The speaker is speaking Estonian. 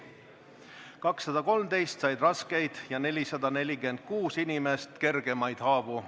213 inimest said raskeid ja 446 inimest kergemaid haavu.